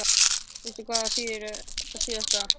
Veistu hvað það þýðir þetta síðasta?